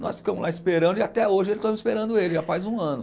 Nós ficamos lá esperando e até hoje estamos esperando ele, já faz um ano.